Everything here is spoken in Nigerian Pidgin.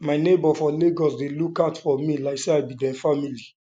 my neighbor for lagos dey look out for me like say i be dem family